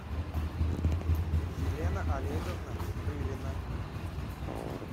елена олеговна рылина